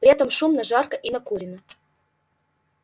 при этом шумно жарко и накурено